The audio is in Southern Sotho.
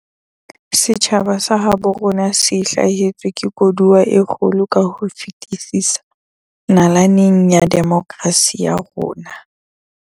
Setjhaba sa habo rona se hlahetswe ke koduwa e kgolo ka ho fetisisa nalaneng ya demokrasi ya rona.